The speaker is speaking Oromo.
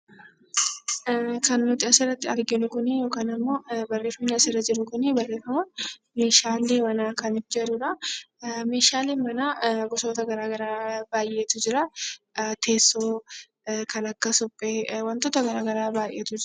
Kan nuti asirratti arginu kunii yookiin immoo barreeffamni asirra jiru kunii barreeffama meeshaalee manaa Kan jedhudha. Meeshaaleen manaa gosoota garaagaraa baayeetu jiraa teessoo, Kan akka suphee wantoota garagaraa baayeetu jira.